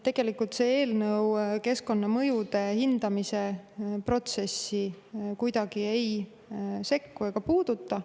Tegelikult see eelnõu keskkonnamõjude hindamise protsessi kuidagi ei sekku ega puuduta.